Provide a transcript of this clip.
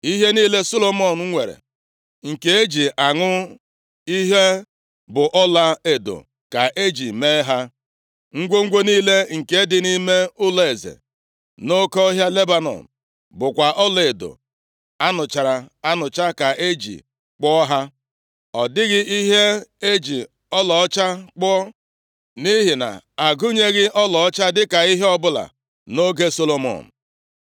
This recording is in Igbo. Ihe niile Solomọn nwere nke e ji aṅụ ihe bụ ọlaedo ka e ji mee ha. Ngwongwo niile nke dị nʼime ụlọeze nʼOke Ọhịa Lebanọn bụkwa ọlaedo a nụchara anụcha ka e ji kpụọ ha. Ọ dịghị ihe e ji ọlaọcha kpụọ, nʼihi na-agụnyeghị ọlaọcha dịka ihe ọbụla nʼoge Solomọn.